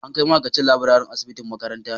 An kai ma'aikacin laburare asibitin makarantan